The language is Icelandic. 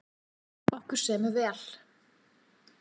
Okkur semur vel